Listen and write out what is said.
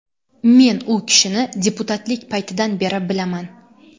Men u kishini deputatlik paytidan beri bilaman.